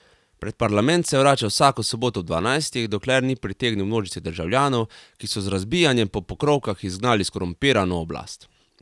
Pred parlament se je vračal vsako soboto ob dvanajstih, dokler ni pritegnil množice državljanov, ki so z razbijanjem po pokrovkah izgnali skorumpirano oblast.